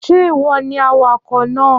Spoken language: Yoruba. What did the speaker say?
Ṣé ìwọ ni awakọ̀ náà?